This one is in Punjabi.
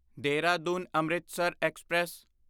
ਦੇਹਰਾਦੂਨ ਅੰਮ੍ਰਿਤਸਰ ਐਕਸਪ੍ਰੈਸ